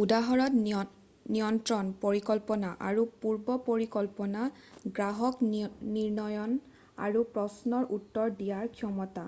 "উদাহৰণত নিয়ন্ত্ৰণ পৰিকল্পনা আৰু পূৰ্বপৰিকল্পনা গ্ৰাহক নিৰ্ণয়ৰ আৰু প্ৰশ্নৰ উত্তৰ দিয়াৰ ক্ষমতা